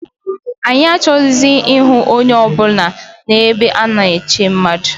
Anyị achọghịzị ịhụ onye ọ bụla n' ebe ana-eche mmadụ